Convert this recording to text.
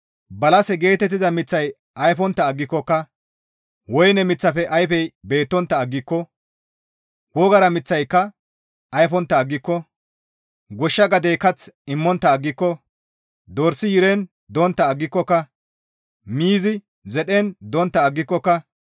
Balase geetettiza miththay ayfontta aggikokka woyne miththafe ayfey beettontta aggiko wogara miththika ayfontta aggiko goshsha gadey kath immontta aggiko Dorsi yiren dontta aggikokka Miizi zedhen dontta aggikokka